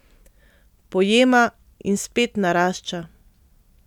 Pojema in spet narašča.